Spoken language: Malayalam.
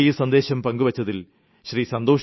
ഉത്തമമായ ഈ സന്ദേശം പങ്കുവെച്ചതിൽ ശ്രീ